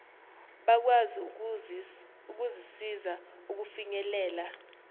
bakwazi ukuzisiza ukufinyelela